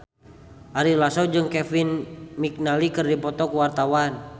Ari Lasso jeung Kevin McNally keur dipoto ku wartawan